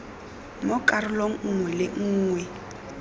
mo karolong nngwe le nngwe